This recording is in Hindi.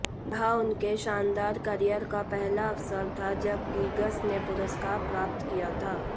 यह उनके शानदार कॅरियर का पहला अवसर था जब गिग्स ने पुरस्कार प्राप्त किया था